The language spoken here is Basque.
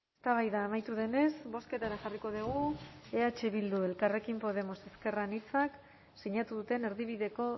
eztabaida amaitu denez bozketara jarriko dugu eh bilduk elkarrekin podemos ezker anitzak sinatu duten erdibideko